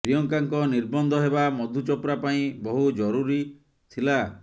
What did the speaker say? ପ୍ରିୟଙ୍କାଙ୍କ ନିର୍ବନ୍ଧ ହେବା ମଧୁ ଚୋପ୍ରା ପାଇଁ ବହୁ ଜୁରୁରୀ ଥିଲା